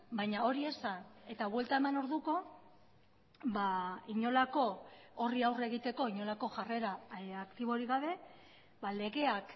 baina hori esan eta buelta eman orduko inolako horri aurre egiteko inolako jarrera aktiborik gabe legeak